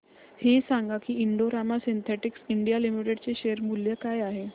हे सांगा की Indo Rama synthetics India limited चे शेअर मूल्य काय आहे